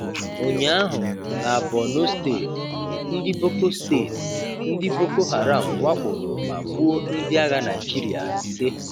Ụnyaahụ, na Bornu steeti, ndị Boko steeti, ndị Boko Haram wakporo ma gbuo ndị agha Naịjirịa ise.